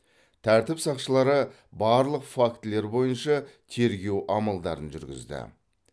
тәртіп сақшылары барлық фактілер бойынша тергеу амалдарын жүргізді